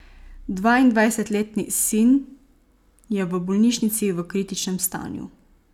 Dvaindvajsetletni sin je v bolnišnici v kritičnem stanju.